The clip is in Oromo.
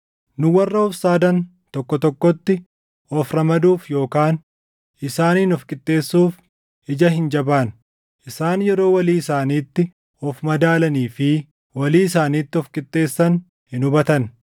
Nu warra of saadan tokko tokkotti of ramaduuf yookaan isaaniin of qixxeessuuf ija hin jabaannu. Isaan yeroo walii isaaniitti of madaalanii fi walii isaaniitti of qixxeessan hin hubatan.